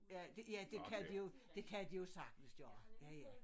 Ja det ja det kan de jo det kan de jo sagtens gøre ja ja